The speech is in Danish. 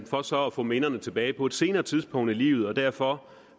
for så at få minderne tilbage på et senere tidspunkt i livet derfor